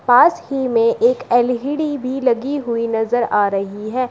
पास ही में एक एल_इ_डी भी लगी हुई नजर आ रही है।